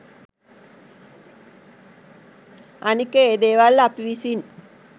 අනික ඒ දේවල් අපි විසින්